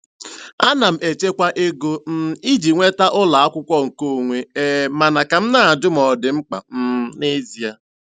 Ana m echekwa ego um iji nweta ụlọ akwụkwọ nkeonwe, um mana ka na-ajụ ma ọ dị mkpa um n'ezie.